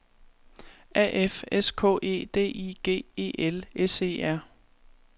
A F S K E D I G E L S E R